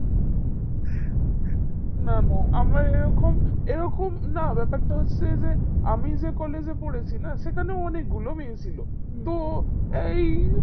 না না আমার এই রকম এইরকম না ব্যাপারটা হচ্ছে যে আমি যে collage এ পড়েছি না সেখানে অনিকগুলো মেয়ে ছিল তো এই